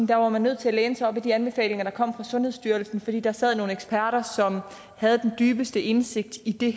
der var man nødt til at læne sig op af de anbefalinger der kom fra sundhedsstyrelsen fordi der sad nogle eksperter som havde den dybeste indsigt i de